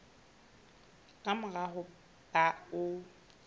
ka mora ho ba o